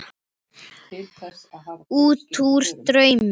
Útúr draumi.